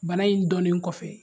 Bana in dɔnnen kɔfɛ